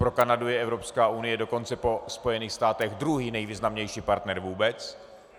Pro Kanadu je Evropská unie dokonce po Spojených státech druhý nejvýznamnější partner vůbec.